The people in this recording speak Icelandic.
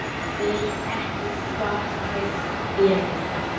Veit ekki hvar þær eru